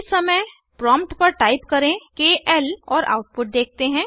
इस समय प्रॉम्प्ट पर टाइप करें केएल और आउटपुट देखते हैं